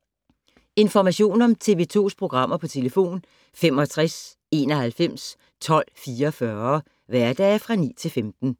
Information om TV 2's programmer: 65 91 12 44, hverdage 9-15.